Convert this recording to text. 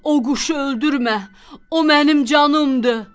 O quşu öldürmə, o mənim canımdır.